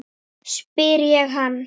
spyr ég hann.